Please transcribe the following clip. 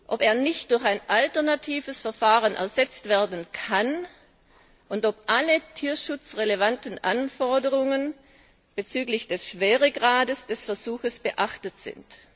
ob er nicht durch ein alternatives Verfahren ersetzt werden kann und ob alle tierschutzrelevanten Anforderungen bezüglich des Schweregrades des Versuches beachtet sind.